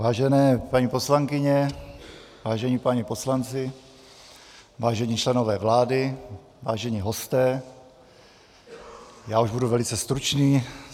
Vážené paní poslankyně, vážení páni poslanci, vážení členové vlády, vážení hosté, já už budu velice stručný.